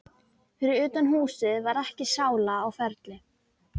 Fyrir utan húsið var ekki sála á ferli.